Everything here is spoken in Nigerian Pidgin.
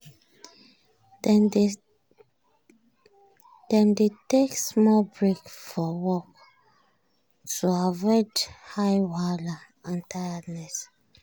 dem dey take small break for for work to avoid eye wahala and tiredness.